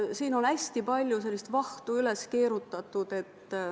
Siin on hästi palju vahtu üles keerutatud.